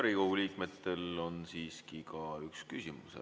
Riigikogu liikmetel on siiski ka üks küsimus.